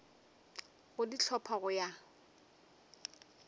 go di hlopha go ya